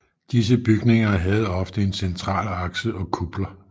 Disse bygninger havde ofte en central akse og kupler